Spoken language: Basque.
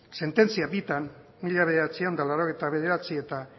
sententzia bitan mila bederatziehun eta laurogeita bederatzi eta